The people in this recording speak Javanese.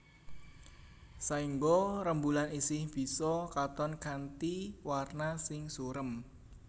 Saéngga rembulan isih bisa katon kanthi warna sing surem